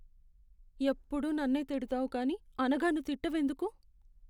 ఎప్పుడూ నన్నే తిడతావు కానీ అనఘను తిట్టవెందుకు?